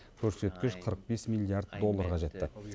көрсеткіш қырық бес миллиард долларға жетті